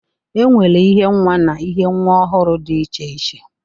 E nwere ihe nwa na ihe nwa ọhụrụ dị iche iche.